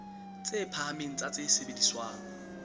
tse phahameng tsa tse sebediswang